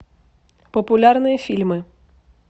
популярные фильмы